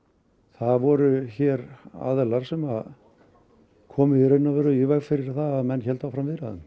það voru hér aðilar sem komu í raun og veru veg fyrir það að menn héldu áfram viðræðum